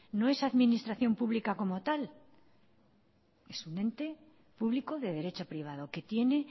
no es administración pública como tal es un ente público de derecho privado que tiene